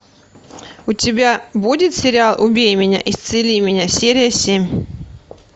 у тебя будет сериал убей меня исцели меня серия семь